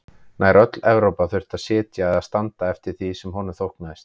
Nær öll Evrópa þurfti að sitja eða standa eftir því sem honum þóknaðist.